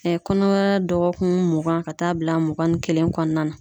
kɔnɔmaya dɔgɔkun mugan ka taa bila mugan ni kelen kɔnɔna na.